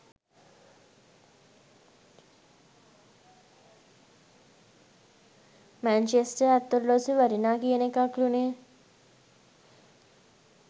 Manchester අත් ඔරලෝසුව ‍වටිනා කියන එකක්ලුනෙ.